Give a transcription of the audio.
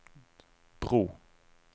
bro